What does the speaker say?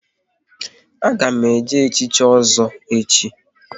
A ga m eje echichi Ozo echi